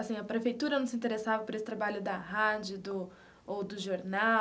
Assim a prefeitura não se interessava por esse trabalho da rádio do ou do jornal?